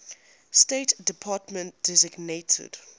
state department designated